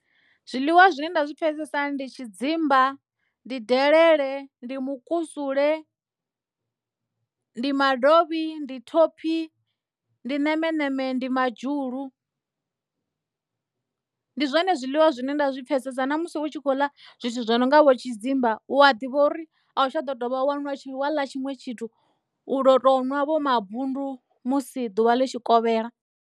Zwiḽiwa zwine nda zwi pfesesa ndi tshidzimba ndi delele ndi mukusule ndi madovhi ndi thophi ndi ṋemeṋeme ndi madzhulu ndi zwone zwiḽiwa zwine nda zwi pfesesa na musi u tshi khou ḽa zwithu zwo no nga vho tshidzimba hu a ḓivha uri a u tsha ḓo dovha wanwa wa ḽa tshiṅwe tshithu u do tou nwa vho mabundu musi ḓuvha litshikovhela.